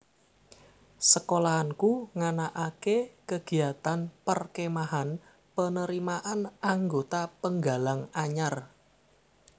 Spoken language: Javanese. Sekolahanku nganakake kegiatan perkemahan penerimaan anggota penggalang anyar